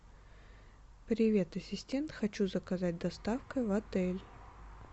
привет ассистент хочу заказать доставку в отель